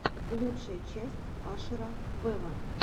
лучшая часть ашера вево